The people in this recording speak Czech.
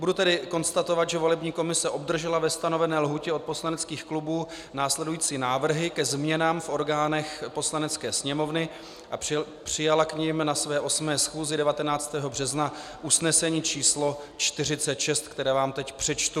Budu tedy konstatovat, že volební komise obdržela ve stanovené lhůtě od poslaneckých klubů následující návrhy ke změnám v orgánech Poslanecké sněmovny a přijala k nim na své 8. schůzi 19. března usnesení číslo 46, které vám teď přečtu.